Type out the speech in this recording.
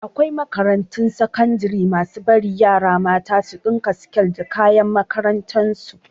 Akwai makarantun sakandare masu bari yara mata su ɗinka siket da da kayan makarantar su